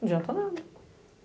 Não adianta nada.